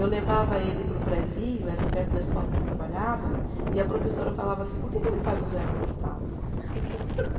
Eu levava ele para o prézinho, era perto da escola onde eu trabalhava, e a professora falava assim, por que que ele faz o zero cortado?